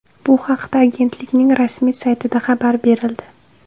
Bu haqda agentlikning rasmiy saytida xabar berildi .